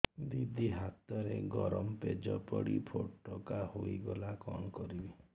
ଦିଦି ହାତରେ ଗରମ ପେଜ ପଡି ଫୋଟକା ହୋଇଗଲା କଣ କରିବି